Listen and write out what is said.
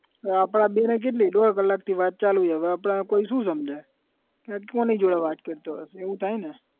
હવે આપડા બે ની કેટલી દોઢ કલાકથી વાત ચાલુ છે હવે આપણે કોઈ શુ સમજે કે કોની જોડે વાત કરતો હશે એવું થાય ને?